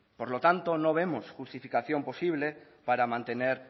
por lo tanto no vemos justificación posible para mantener